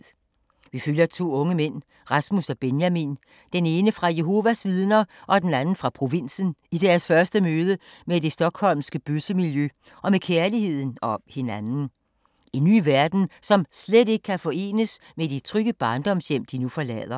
Vi følger to unge mænd, Rasmus og Benjamin, den ene fra Jehovas vidner og den anden fra provinsen, i deres første møde med det stockholmske bøssemiljø og med kærligheden og hinanden. En ny verden, som slet ikke kan forenes med de trygge barndomshjem, de nu forlader.